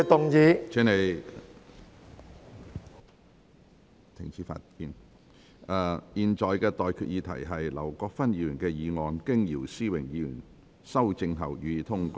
我現在向各位提出的待決議題是：劉國勳議員動議的議案，經姚思榮議員修正後，予以通過。